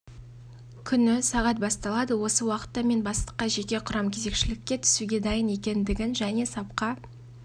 күні сағат басталады осы уақытта мен бастыққа жеке құрам кезекшілікке түсуге дайын екендігін және сапқа